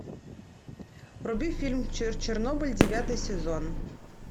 вруби фильм чернобыль девятый сезон